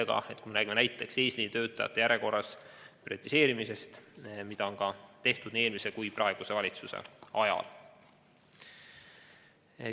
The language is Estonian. Seda siis juhul, kui me räägime näiteks eesliinitöötajate järjekorra prioriseerimisest, nagu on tehtud nii eelmise kui ka praeguse valitsuse ajal.